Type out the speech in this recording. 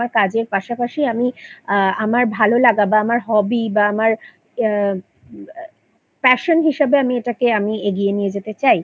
কাজের পাশাপাশি আমি আ আমার ভালোলাগা বা আমার Hobby বা আমার আ Passion হিসাবে আমি এটাকে এগিয়ে নিয়ে যেতে চাই